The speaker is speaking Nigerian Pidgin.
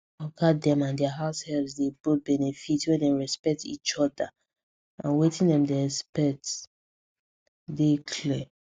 oga dem and dia househelps dey both benefit when dem respect each other and wetin dem dey expect dey clear